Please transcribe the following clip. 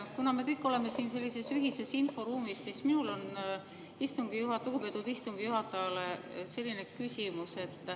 Kuna me kõik oleme siin sellises ühises inforuumis, siis minul on lugupeetud istungi juhatajale selline küsimus.